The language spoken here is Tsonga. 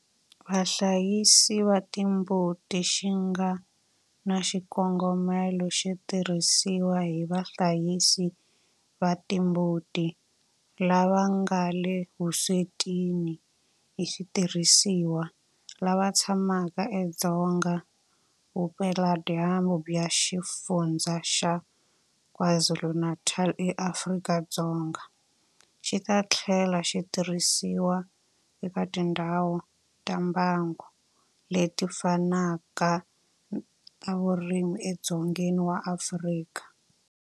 Vahlayisi va timbuti xi nga na xikongomelo xo tirhisiwa hi vahlayisi va timbuti lava nga le vuswetini hi switirhisiwa lava tshamaka edzonga vupeladyambu bya Xifundzha xa KwaZulu-Natal eAfrika-Dzonga, xi ta tlhela xi tirhisiwa eka tindhawu ta mbango leti fanaka ta vurimi edzongeni wa Afrika.